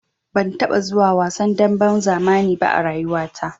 Ban taɓa zuwa wasan damben zamani ba a rayuwata.